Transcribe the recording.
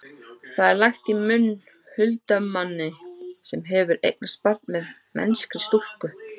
það er lagt í munn huldumanni sem hefur eignast barn með mennskri stúlku